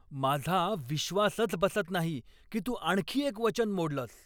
माझा विश्वासच बसत नाही की तू आणखी एक वचन मोडलंस.